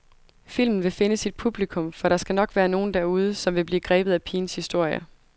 Filmen vil finde sit publikum, for der skal nok være nogen derude, som vil blive grebet af pigens historie.